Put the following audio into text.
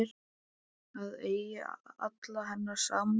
Það eigi alla hennar samúð.